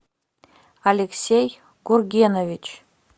алексей гургенович